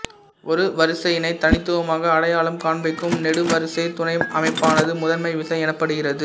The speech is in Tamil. ஒரு வரிசையினை தனித்துவமாக அடையாளம் காண்பிக்கும் நெடுவரிசை துணை அமைப்பானது முதன்மை விசை எனப்படுகிறது